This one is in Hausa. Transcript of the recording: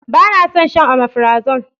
Ba na son shan omefrazole.